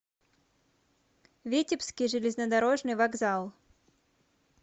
витебский железнодорожный вокзал